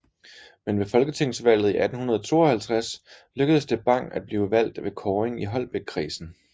Men ved folketingsvalget i 1852 lykkedes det Bang at blive valgt ved kåring i Holbækkredsen